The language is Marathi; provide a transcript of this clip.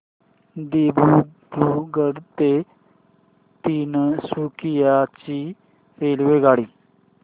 दिब्रुगढ ते तिनसुकिया ची रेल्वेगाडी